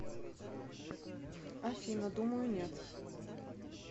афина думаю нет